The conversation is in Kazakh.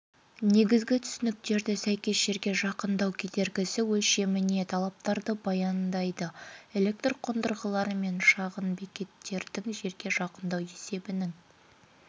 негізгі түсініктерді сәйкес жерге жақындау кедергісі өлшеміне талаптарды баяндайды электр қондырғылары мен шағын бекеттердің жерге жақындау есебінің